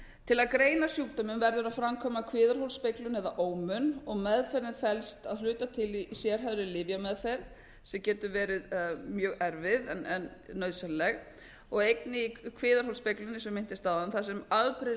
til að greina sjúkdóminn verður að framkvæma kviðarholsspeglun eða ómun og meðferðin felst að hluta til í sérhæfðri lyfjameðferð sem getur verið mjög erfið en nauðsynleg og einnig í kviðarholsspeglinum sem ég minntist á áðan þar